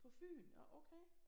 På Fyn nå okay